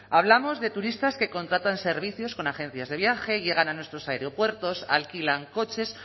hablamos de turistas que contratan servicios con agencias de viaje llegan a nuestros aeropuertos alquilan coches